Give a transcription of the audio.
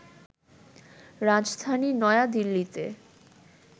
রাজধানী নয়াদিল্লিতে